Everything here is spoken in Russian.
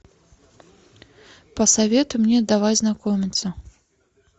посоветуй мне давай знакомиться